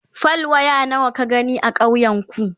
fal. waya nawa ka gani a ƙauyen ku?